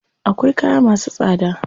Akwai kaya masu tsada.